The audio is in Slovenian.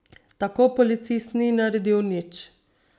Tako policist ni naredil nič.